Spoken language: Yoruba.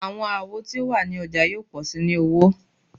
Awọn awo ti o wa ni ọja yoo pọ si ni owo